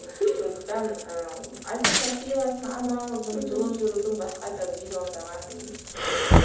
сондықтан ы альтернативасын аналогын жылы жүрудің басқа да миллиондаған түрлері бар